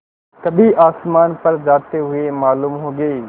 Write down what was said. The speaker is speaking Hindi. कभी आसमान पर जाते हुए मालूम होंगे